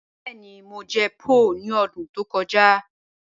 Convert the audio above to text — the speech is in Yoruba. Bẹẹni, Mo jẹ̀ pho ni ọdún tó kọja